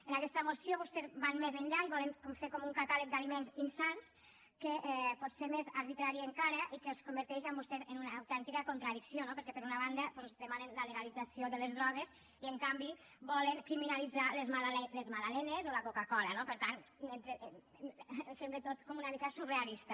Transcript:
en aquesta moció vostès van més enllà i volen fer com un catàleg d’aliments insans que pot ser més arbitrari encara i que els converteix a vostès en una autèntica contradicció perquè per una banda doncs demanen la legalització de les drogues i en canvi volen criminalitzar les magdalenes o la coca cola no per tant ens sembla tot com una mica surrealista